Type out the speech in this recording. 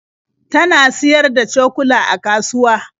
Ta na siyar da cokula a kasuwa.